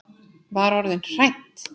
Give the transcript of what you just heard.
Var orðin hrædd!